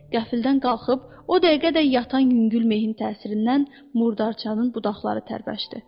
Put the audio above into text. Qəflətən qalxıb, o dəqiqə də yatan yüngül mehin təsirindən murdarçanın budaqları tərpəşdi.